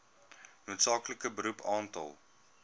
noodsaaklike beroep aantal